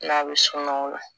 N'a bɛ sunɔgɔ o la